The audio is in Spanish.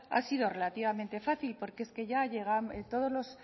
ha sido relativamente fácil porque es que